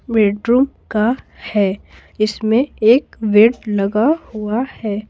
Bedroom का है इसमें एक बेड लगा हुआ है।